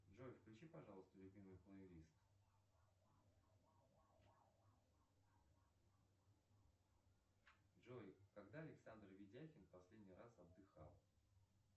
джой включи пожалуйста любимый плэй лист джой когда александр ведяхин последний раз отдыхал